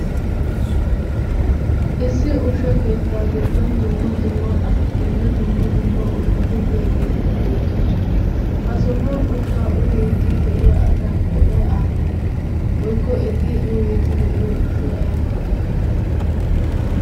Issi ushsha keettaa giddon dumma dumma asatinne dumma dumma ushshati diyaageeti beettoosona. Ha sohuwan ushshaa uyiiddi de"iyaa asaa qooday aappunee woyikko eti uyiiddi de"iyoo ushshat aybaa geetettii?